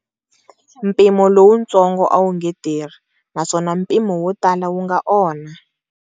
Mpimo lowutsongo a wu nge tirhi, naswona mpimo wo tala wu nga onha.